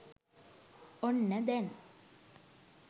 ඔන්න දැන්